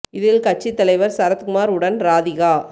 இதில் கட்சி தலைவர் சரத்குமார் உடன் ராதிகா